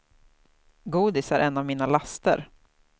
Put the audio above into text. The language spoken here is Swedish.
Godis är en av mina laster.